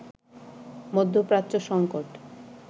মধ্যপ্রাচ্য সঙ্কট